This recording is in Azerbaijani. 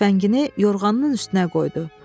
Tüfəngini yorğanın üstünə qoydu.